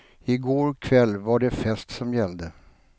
I går kväll var det fest som gällde.